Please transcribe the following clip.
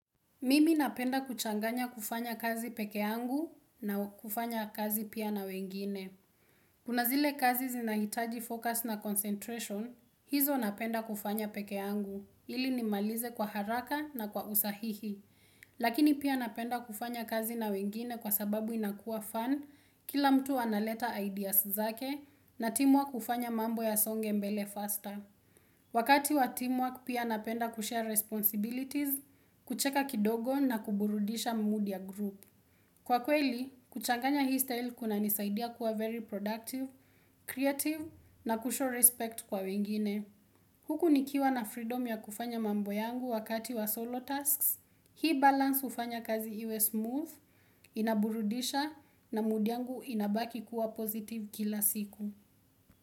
Mimi napenda kuchanganya kufanya kazi peke yangu na kufanya kazi pia na wengine. Kuna zile kazi zinahitaji focus na concentration, hizo napenda kufanya peke yangu, ili nimalize kwa haraka na kwa usahihi. Lakini pia napenda kufanya kazi na wengine kwa sababu inakua fun, kila mtu analeta ideas zake na timu wa kufanya mambo yasonge mbele faster. Wakati wa team work pia napenda kushare responsibilities, kucheka kidogo na kuburudisha mood ya group. Kwa kweli, kuchanganya hii style kunanisaidia kuwa very productive, creative na kushow respect kwa wengine. Huku nikiwa na freedom ya kufanya mambo yangu wakati wa solo tasks, hii balance hufanya kazi iwe smooth, inaburudisha na mood yangu inabaki kuwa positive kila siku.